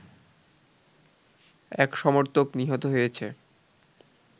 এক সমর্থক নিহত হয়েছে